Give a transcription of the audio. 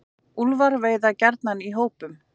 Úlfar veiða gjarnan í hópum.